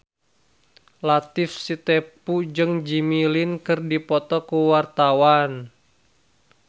Latief Sitepu jeung Jimmy Lin keur dipoto ku wartawan